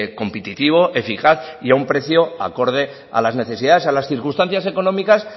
competitivo eficaz y a un precio acorde a las necesidades a las circunstancias económicas